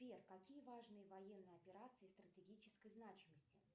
сбер какие важные военные операции стратегической значимости